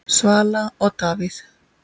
Svala og Davíð Þór.